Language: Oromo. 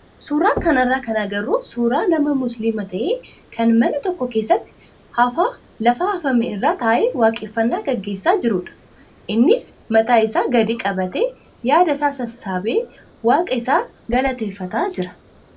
Suuraa kanarraa kan agarru suuraa nama musliima ta'ee kan mana tokko keessatti hafaa lafa hafame irra taa'ee waaqeffannaa gaggeessaa jirudha. Innis mataa isaa gadi qabatee yaadasaa sassaabee waaqa isaa galateeffataa jira.